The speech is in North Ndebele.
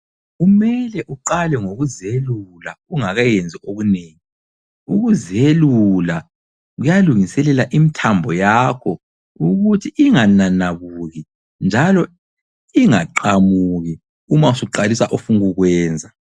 Kumele uqale ngokuzelula ungakayenzi okunengi. Ukuzelula kuyalungiselela imithambo yakho ukuthi ingananabuki njalo ingaqamuki uma usuqalisa ofunukukwenza.